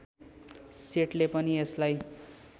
सेटले पनि यसलाई